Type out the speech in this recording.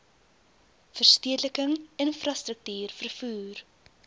verstedeliking infrastruktuur vervoer